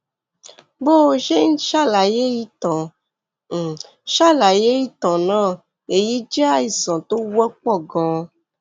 bó o ṣe ń ṣàlàyé ìtàn ń ṣàlàyé ìtàn náà èyí jẹ àìsàn tó wọpọ ganan